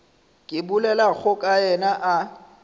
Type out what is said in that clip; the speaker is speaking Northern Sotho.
ke bolelago ka yena a